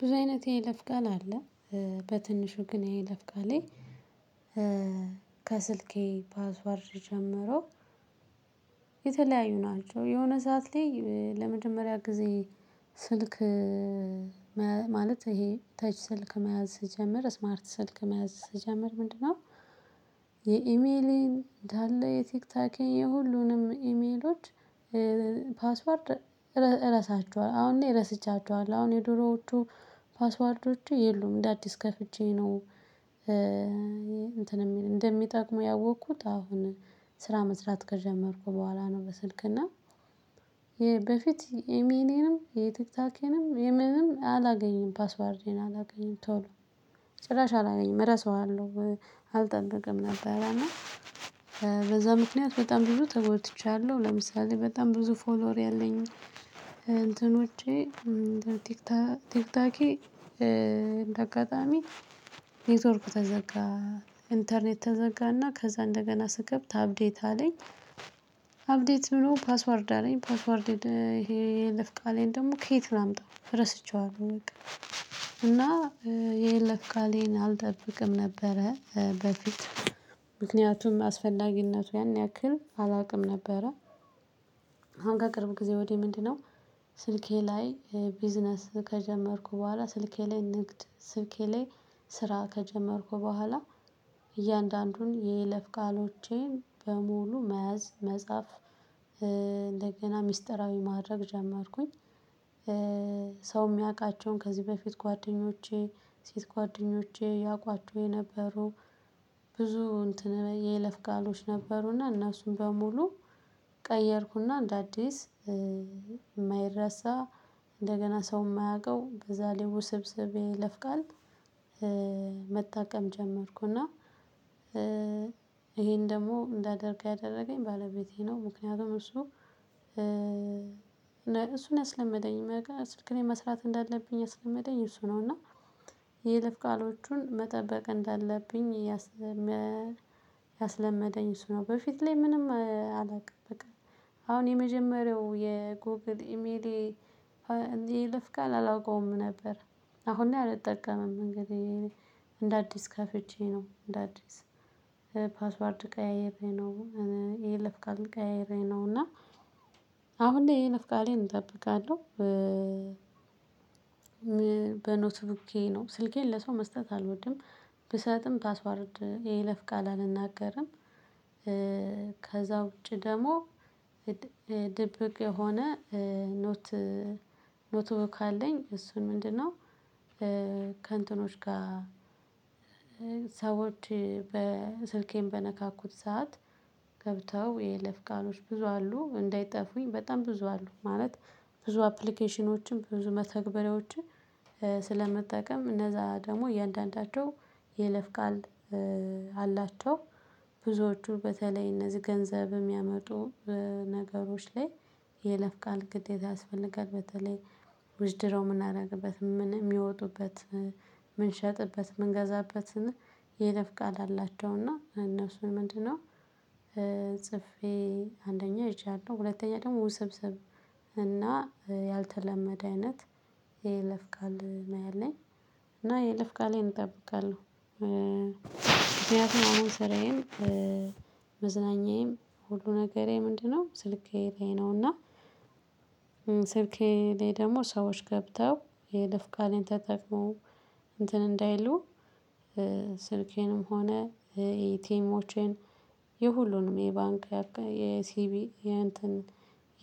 ብዙ አይነት የይለፍ ቃል አለ። በትንሹ ግን የይለፍ ቃሌ። ከስልኬ ፓስወርድ ስጀመረው። የተለያዩ ናቸው የሆነ ሰዓት ላይ ለመጀመሪያ ጊዜ። ስልክ ማለት ይሄ ተች ስልክ መያዝ ስጀምር ስማርት ስልክ መያዝ ስጀምር ምንድነው? የኢሜሌን እንዳለ የቲክቶኬን የሁሉንም ኢሜሎች ፓስወርድ እረሳቸዋለሁ አሁን እኔ ረስቻቸዋለሁ አሁን የድሮዎቹ ፓስዋርዶቼ የሉም እንደ አዲስ ከፍቼ ነው። እንትን እንደሚጠቅሙ ያወኩት አሁን ስራ መስራት ከጀመርኩ በኋላ ነው። በስልክ እና በፊት ኤሚሌንም የቲክታኬንም የምንም አላገኝም ፓስወርዴን አላገኝም ቶሎ ጭራሽ አላገኝም እረሳዋለሁ። አልጠበቅም ነበር እና በዛ ምክንያት በጣም ብዙ ተጎድቻለሁ። ለምሳሌ በጣም ብዙ ፎሎወር ያለኝ እንትኖቼ ቲክታኬ እንደ አጋጣሚ ኔትወርክ ተዘጋ ኢንተርኔት ተዘጋና ከዛ እንደገና ስከፍት አፕዴት አለኝ። አፕዴት ብሎ ፓስወርድ አለኝ ፓስወርድ ይሄ የይለፍ ቃሌን ደግሞ ከየት ላምጣ ረስቼዋለሁ። በቃ እና የይለፍ ቃሌን አልጠብቅም ነበረ በፊት ምክንያቱም አስፈላጊነቱ ያን ያክል አላውቅም ነበረ። አሁን ከቅርብ ጊዜ ወዲህ ምንድነው? ስልኬ ላይ ቢዝነስ ከጀመርኩ በኋላ ስልኬ ላይ ንግድ ስልኬ ላይ ስራ ከጀመርኩ በኋላ እያንዳንዱን የይለፍ ቃሎቼን በሙሉ መያዝ መጻፍ እንደገና ሚስጥራዊ ማድረግ ጀመርኩኝ። ሰው የሚያውቃቸውን ከዚህ በፊት ጓደኞቼ ሴት ጓደኞቼ ያውቋቸው የነበሩ ብዙ እንትን የይለፍ ቃሎች ነበሩና እነሱን በሙሉ ቀየርኩና እንደ አዲስ የማይረሳ እንደገና ሰው የማያውቀው በዛ ስብስብ የይለፍቃል። መጠቀም ጀመርኩ እና ይሄን ደግሞ እንዳደርገው ያደረገኝ ባለቤቴ ነው። ምክንያቱም እሱ እሱ ነው ያስለመደኝ ስልክ ላይ መስራት እንዳለብኝ ያስለመደኝ እሱ ነው። እና የይለፍ ቃሎቹን መጠበቅ እንዳለብኝ ያስለመደኝ እሱ ነው። በፊት ላይ ምንም አላውቅም በቃ አሁን የመጀመሪያው የጎግል ኢሜሌ የይለፍቃል አላውቀውም ነበር። አሁን ላይ አልጠቀምም እንግዲህ እንደ አዲስ ከፍቼ ነው። እንደ አዲስ ፓስወርድ ቀያይሬ ነው የይለፍ ቃሌን ቀያይሬ ነው እና አሁን እኔ የይለፍ ቃሌን እጠብቃለሁ። በኖትቡኬ ነው ስልኬን ለሰው መስጠት አልወድም። ብሰጥም ፓስወርድ የይለፍ ቃል አልናገርም። ከዛ ውጪ ደግሞ ድብቅ የሆነ ኖት ኖትቡክ አለኝ እሱን ምንድነው? ከእንትኖች ጋር ሰዎች ስልኬን በነካኩት ሰዓት ገብተው የይለፍ ቃሎች ብዙ አሉ እንዳይጠፉኝ በጣም ብዙ አሉ ማለት ብዙ አፕሊኬሽኖችን ብዙ መተግበሪያዎችን ስለምጠቀም እነዛ ደግሞ እያንዳንዳቸው የይለፍ ቃል አላቸው። ብዙዎቹ በተለይ እነዚህ ገንዘብ የሚያመጡ ነገሮች ላይ የይለፍ ቃል ግዴታ ያስፈልጋል። በተለይ ዊዝድረው የምናደረግበት ምን የሚወጡበት የምንሸጥበት የምንገዛበትን የይለፍ ቃል አላቸው እና እነሱን ምንድነው? ጽፌ አንደኛ ይዣለሁ ሁለተኛ ደግሞ ውስብስብ እና ያልተለመደ አይነት የይለፍ ቃል ነው ያለኝ። እና የይለፍ ቃሌን እጠብቃለሁ ምክንያቱም አሁን ስራዬን መዝናኛዬም ሁሉ ነገሬ ምንድነው ስልኬ ላይ ነውና። ስልኬ ላይ ደግሞ ሰዎች ገብተው የይለፍ ቃሌን ተጠቅመው እንትን እንዳይሉ ስልኬንም ሆነ ኤቲኤሞቼን የሁሉንም የባንክ የሲቢኢ የእንትን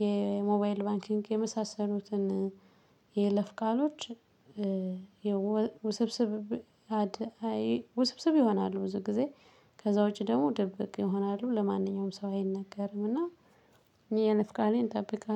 የሞባይል ባንኪንግ የመሳሰሉትን የይለፍ ቃሎች። ውስብስብ ውስብስብ ይሆናሉ ብዙ ጊዜ ከዛ ውጪ ደግሞ ድብቅ ይሆናሉ ለማንኛውም ሰው አይነገርም። እና የይለፍ ቃሌን እጠብቃለሁ